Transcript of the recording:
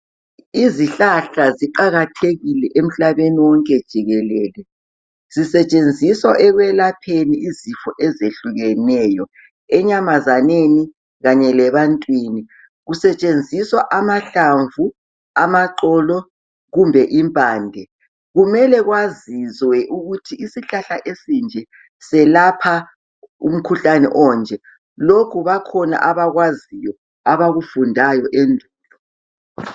Izihlahla ziqakathekile emhlabeni wonke jikelele, zisetshenziswa ekwelapheni izifo ezehlukeneyo. Enyamazaneni kanye lebantwini kusetshenziswa amahlamvu, amaxolo kumbe impande. Kumele kwaziwe ukuthi isihlahla lesi esinje selapha umkhuhlane onje, lokhu bakhona abakwaziyo abakufundayo endulo.